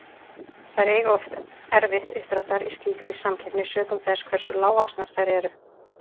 Þær eiga oft erfitt uppdráttar í slíkri samkeppni, sökum þess hversu lágvaxnar þær eru.